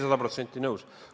Sada protsenti nõus.